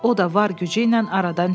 O da var gücü ilə aradan çıxdı.